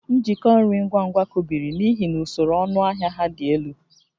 Njikọ nri ngwa ngwa kụbiri n'ihi na usoro ọnụahịa ha dị elu